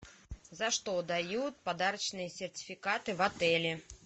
за что дают подарочные сертификаты в отеле